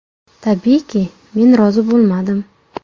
Tabiiyki, men rozi bo‘lmadim.